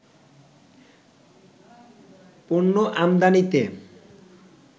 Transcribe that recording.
পণ্য আমদানিতে